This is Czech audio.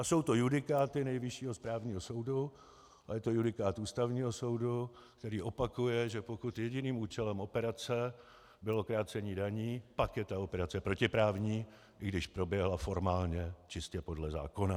A jsou to judikáty Nejvyššího správního soudu a je to judikát Ústavního soudu, který opakuje, že pokud jediným účelem operace bylo krácení daní, pak je ta operace protiprávní, i když proběhla formálně čistě podle zákona.